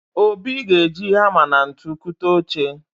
Obi ga-eji hama na ntu kụta oche.